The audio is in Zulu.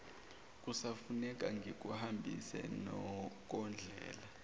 kusafuneka ngikuhambise kondlela